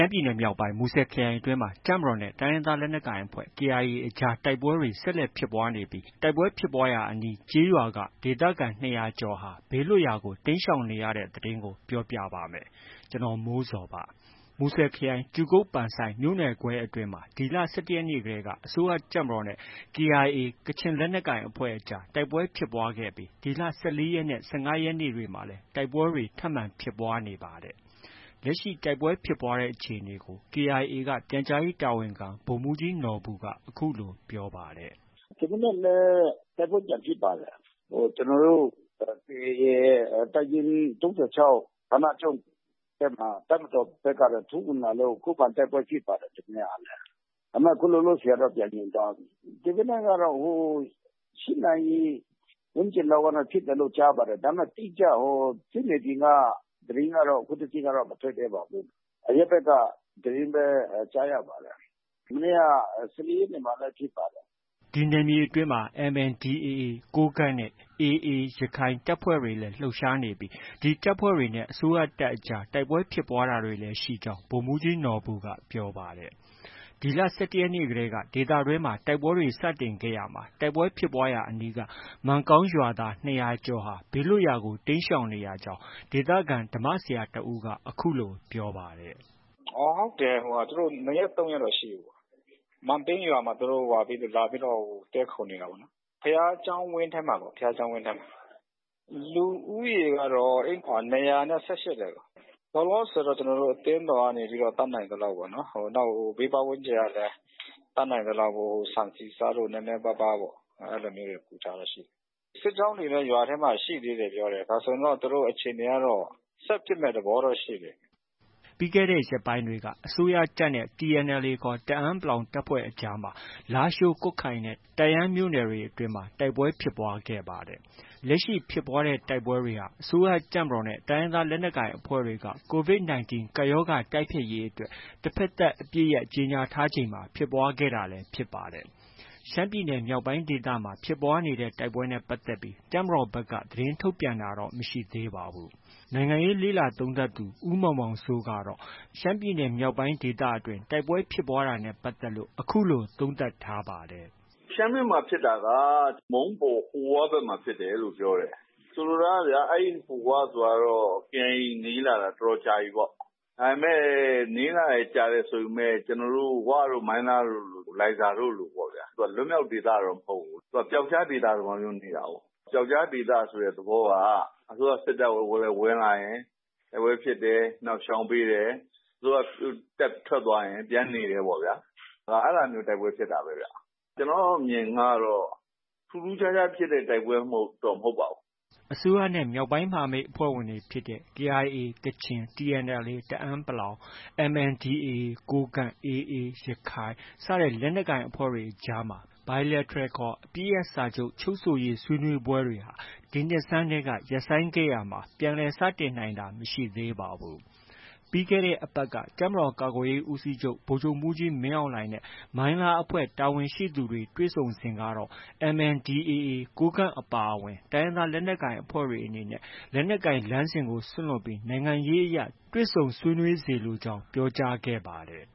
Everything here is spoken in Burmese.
မ်းပြည်နယ်မြောက်ပိုင်း မူဆယ်ခရိုင်အတွင်းမှာ တပ်မတော်နဲ့ တိုင်းရင်းသား လက်နက်ကိုင်အဖွဲ့ KIA အကြား တိုက်ပွဲတွေ ဆက်လက်ဖြစ်ပွားနေပြီး တိုက်ပွဲဖြစ်ရာအနီး ကျေးရွာက ဒေသခံ ၂၀၀ကျော်ဟာ ဘေးလွတ်ရာကို တိမ်းရှောင်နေရတဲ့ သတင်းကို ဗွီအိုအေမြန်မာပိုင်းသတင်းထောက် ကိုမိုးဇော်က ပြောပြပါမယ်။ မူဆယ်ခရိုင် ကြူကုတ် မြို့နယ်ခွဲအတွင်းမှာ ဒီလ ၁၁ရက်နေ့ကတည်းက အစိုးရတပ်မတော်နဲ့ KIA ကချင်လက်နက်ကိုင်အဖွဲ့အကြား တိုက်ပွဲဖြစ်ပွားခဲ့ပြီး ဒီလ ၁၄ရက်နဲ့ ၁၅ရက်နေ့တွေမှာလည်း တိုက်ပွဲတွေ ထပ်မံ ဖြစ်ပွားနေပါတယ်။ လက်ရှိ တိုက်ပွဲဖြစ်ပွားတဲ့အခြေအနေကို KIA က ပြန်ကြားရေးတာဝန်ခံ ဗိုလ်မှုးကြီးနော်ဘူက အခုလို ပြောပါတယ်။ “ဒီမနက်လည်း တိုက်ပွဲပြန်ဖြစ်ပါတယ်။ ကျနော်တို့ KIA ၃၆ တပ်ရင်းဌာနချုပ်ဘက်မှာ တပ်မတော်ဘက်က ထိုးဝင်လာလို့ ခုခံတိုက်ပွဲဖြစ်ပါတယ်။ ဒီမနက်ကလည်း။ ဒါပေမဲ့ ခု လောလောဆည်ကတော့ ပြန်ငြိမ်သွားပြီ။ ဒီမနက်ကတော့ ၈ နာရီ ဝန်းကျင်လောက်က ဖြစ်တယ်လို့ ကြားပါတယ်။ ဒါပေမဲ့ တိကျ ဟို စစ်မြေပြင်က သတင်းကတော့ ခုထိ မထွက်သေးပါဘူး။ အရပ်ဘက်က သတင်းပဲ ကြားရပါတယ်။ မနေ့က ၁၄ ရက်နေ့ မှာလည်း ဖြစ်ပါတယ်။” ဒီနယ်မြေအတွင်းမှာ MNDAA ကိုးကန့်နဲ့ AA တပ်ဖွဲ့တွေလည်း လှုပ်ရှားနေပြီး ဒီတပ်ဖွဲ့တွေနဲ့ အစိုးရတပ်အကြား တိုက်ပွဲဖြစ်တာတွေလည်းရှိကြောင်း ဗိုလ်မှူးကြီးနော်ဘူက ပြောပါတယ်။ ဒီလ ၁၁ ရက်နေ့တည်းက ဒေသတွင်းမှာ တိုက်ပွဲတွေ စတင်ခဲ့ရာမှာ တိုက်ပွဲဖြစ်ပွားရာ ရွာအနီးက မန်ကောင်း ရွာသား ၂၀၀ကျော်ဟာ ဘေးလွတ်ရာကို တိမ်းရှောင်နေရကြောင်း ဒေသခံ ဓမ္မဆရာတစ်ဦးက အခုလို ပြောပါတယ်။ “ဟုတ်တယ်။ သူတို့ ၂ရက်၊ ၃ရက်ရှိပြီ။ မန်ပိန်းရွာမှာ သူတို့ လာပြီး တည်းခိုနေတာပေါ့နော်။ ဘုရားကျောင်းဝင်းထဲမှာ။ လူဦးရေကတော့ ၂၈၀ တဲ့။ လောလောဆယ်ကတော့ ကျနော်တို့ အသင်းတော်ကနေ တတ်နိုင်သလောက်ပေါ့။ နောက် ဘေးပတ်ဝန်းကျင်ကလည်း တတ်နိုင်သလောက် ဆန်၊ ဆီ၊ ဆားတို့ နည်းနည်းပါးပါး အဲလိုမျိုးတွေ ကူထားတာရှိတယ်။ စစ်ကြောင်းတွေလည်း ရွာထဲမှာ ရှိသေးတယ်ပြောတယ်။ ဒါဆိုရင်တော့ သူတို့ အခြေအနေကတော့ ဆက်ဖြစ်မယ့် သဘောတော့ ရှိတယ်။” ပြီးခဲ့တဲ့ ရက်ပိုင်းတွေက အစိုးရတပ်နဲ့ TNLA ခေါ် တအန်း တပ်ဖွဲ့အကြားမှာ လားရှိုး၊ ကွတ်ခိုင်နဲ့ တန့်ယန်းမြို့နယ်တွေအတွင်းမှာ တိုက်ပွဲဖြစ်ပွားခဲ့ပါတယ်။ လက်ရှိဖြစ်ပွားနေတဲ့တိုက်ပွဲတွေဟာ အစိုးရတပ်မတော်နဲ့ တိုင်းရင်းသားလက်နက်ကိုင်အဖွဲ့တွေက COVID 19 ကပ်ရောဂါ တိုက်ဖျက်ရေးအတွက် တဘက်သတ် အပစ်ရပ် ကြေညာထားချိန်မှာ ဖြစ်ပွားခဲ့တာလည်း ဖြစ်ပါတယ်။ ရှမ်းပြည်နယ် မြောက်ပိုင်းဒေသမှာ ဖြစ်ပွားနေတဲ့တိုက်ပွဲတွေနဲ့ ပတ်သက်လို့ တပ်မတော်က သတင်းထုတ်ပြန်တာတော့ မရှိသေးပါဘူး။ နိုင်ငံရေးလေ့လာသုံးသပ်သူ ဦးမောင်မောင်စိုးကတော့ ရှမ်းပြည်နယ်မြောက်ပိုင်း ဒေသတွင်း တိုက်ပွဲ ဖြစ်ပွားတာနဲ့ ပတ်သက်လို့ အခုလို သုံးသပ်ထားပါတယ်။ “ရှမ်းဘက်မှာ ဖြစ်တာက မုံးပေါ်၊ ဟိုဝါးဘက်မှာ ဖြစ်တယ်လို့ ပြောတယ်။ ဆိုလိုတာက အဲဒီ ဟိုဝါးဘက်မှာ KIA နေလာတာ တော်တော်ကြာပြီပေါ့။ ဒါပေမဲ့ နေလာတာ ကြာတယ်ဆိုပေမဲ့ ဝတို့ ၊ မိုင်းလားတို့လို၊ လိုင်ဇာတို့လို လွတ်မြောက်ဒေသတော့ မဟုတ်ဘူး။ သူက ပြောက်ကျားဒေသသဘောမျိုးနေတာကိုး။ ပြောက်ကျားဒေသ သဘောက အစိုးရစစ်တပ်ဝင်လာရင် တိုက်ပွဲဖြစ်တယ်။ နောက် ရှောင်ပေးတယ်။ အစိုးရတပ်ထွက်သွားရင် ပြန်နေတယ်ပေါ့ဗျာ။ အဲဒါမျိုး တိုက်ပွဲဖြစ်တာပဲဗျ။ ကျနော့်အမြင်ကတော့ ထူးထူးခြားခြား ဖြစ်တဲ့ တိုက်ပွဲ မဟုတ်ပါဘူး။” အစိုးရနဲ့ မြောက်ပိုင်းမဟာမိတ်အဖွဲ့ဝင်တွေဖြစ်တဲ့ KIA ကချင်၊ TNLA တအန်း ၊ MNDAA ကိုးကန့်၊ AA ရခိုင် လက်နက်ကိုင်အဖွဲ့တွေအကြားမှာ Bilateral ခေါ် အပစ်ရပ်စာချုပ် ချုပ်ဆိုရေးဆွေးနွေးပွဲတွေဟာ ဒီနှစ်ဆန်းတည်းက ရပ်ဆိုင်းခဲ့ရာက ပြန်လည် စတင်နိုင်တာမရှိသေးပါဘူး။ ပြီးခဲ့တဲ့ အပတ်က တပ်မတော်ကာကွယ်ရေးဦးစီးချုပ် ဗိုလ်ချုပ်မှုးကြီးမင်းအောင်လှိုင်နဲ့ မိုင်းလားအဖွဲ့ တာဝန်ရှိသူတွေ တွေ့ဆုံစဉ်ကတော့ MNDAA ကိုးကန့်အပါအဝင် တိုင်းရင်းသား လက်နက်ကိုင်အဖွဲ့တွေအနေနဲ့ လက်နက်ကိုင်လမ်းစဉ်ကို စွန့်လွှတ်ပြီး နိုင်ငံရေးအရ တွေ့ဆုံဆွေးနွေးစေလိုကြောင်း ပြောကြားခဲ့တယ်